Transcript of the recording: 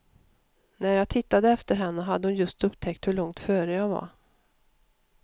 När jag tittade efter henne hade hon just upptäckt hur långt före jag var.